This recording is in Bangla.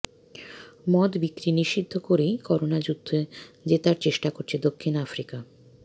মদ বিক্রি নিষিদ্ধ করেই করোনাযুদ্ধ জেতার চেষ্টা করছে দক্ষিণ আফ্রিকা